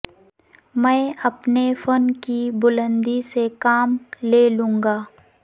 میں اپنے فن کی بلندی سے کام لے لوںگا